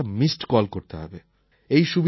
আপনাকে শুধু একটা মিসড কল করতে হবে